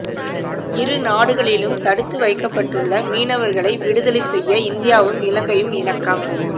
இரு நாடுகளிலும் தடுத்து வைக்கப்பட்டுள்ள மீனவர்களை விடுதலை செய்ய இந்தியாவும் இலங்கையும் இணக்கம்